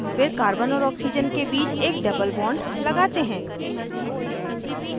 फिर carbon और oxygen के बीच एक double bond लगाते हैं